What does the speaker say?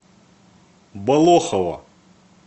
болохово